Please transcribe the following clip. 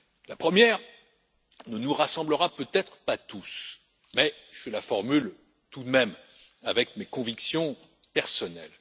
La première ne nous rassemblera peut être pas tous, mais je la formule tout de même, avec mes convictions personnelles.